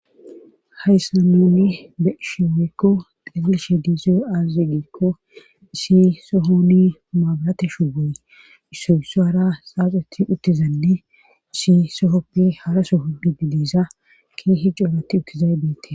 Hayssa noni be isheowekko xefilshe diize azegeekko si sohoni maabarate shugooy issoysu hara saaxeti uttizadi si sohoppe hara soho pi didiiza keehi jooratti uttizay beetes.